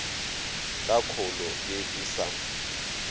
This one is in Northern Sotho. ka kholo ye e sa